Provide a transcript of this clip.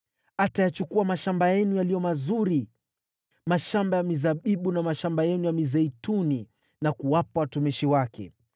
Atayachukua mashamba yenu yaliyo mazuri, mashamba ya mizabibu na mashamba yenu ya mizeituni na kuwapa watumishi wake.